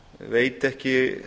veit ekki